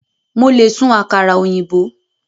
Mo le sun àkàrà òyìnbó